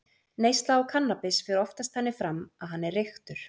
Neysla á kannabis fer oftast þannig fram að hann er reyktur.